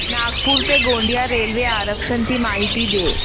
नागपूर ते गोंदिया रेल्वे आरक्षण ची माहिती दे